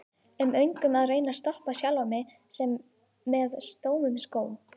um öngum og reyni að stoppa sjálfan mig með stömum skó